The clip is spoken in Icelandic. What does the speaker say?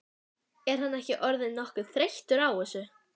En er hann ekki orðinn nokkuð þreyttur á þessu?